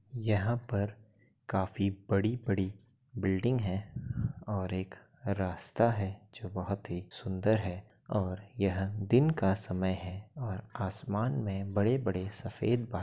यहाँ पर काफी बड़ी-बड़ी बिल्डिंग है और एक रस्ता है। जो बोहोत ही सुंदर है और यह दिन का समय है और आसमान में बड़े-बड़े सफ़ेद बा --